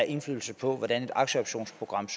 indflydelse på hvordan et aktieoptionsprogram